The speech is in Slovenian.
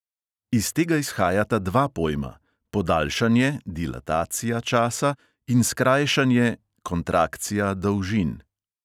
Iz tega izhajata dva pojma – podaljšanje časa in skrajšanje dolžin.